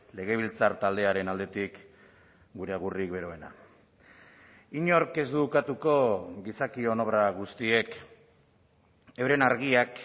legebiltzar taldearen aldetik gure agurrik beroena inork ez du ukatuko gizakion obra guztiek euren argiak